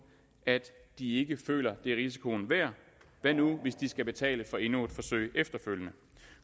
at de ikke føler at det er risikoen værd hvad nu hvis de skal betale for endnu et forsøg efterfølgende